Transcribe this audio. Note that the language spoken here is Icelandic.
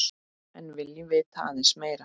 En viljum vita aðeins meira.